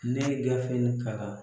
Ne ye gafe nin kalan